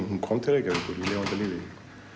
hún kom til Reykjavíkur í lifanda lífi